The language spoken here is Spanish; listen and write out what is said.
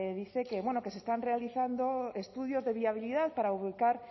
dice que bueno que se están realizando estudios de viabilidad para ubicar